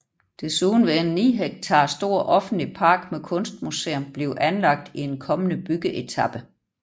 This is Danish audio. Desuden vil en 9 hektar stor offentlig park med kunstmuseum blive anlagt i en kommende byggeetape